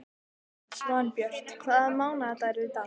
Svanbjört, hvaða mánaðardagur er í dag?